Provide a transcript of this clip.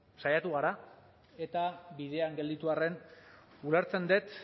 saiatu gara eta bidean gelditu arren ulertzen dut